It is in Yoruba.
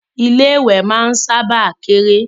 Ilé ìwẹ̀ máa ń sábà kéré